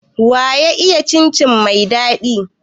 Waya iya cin cin mai daɗi?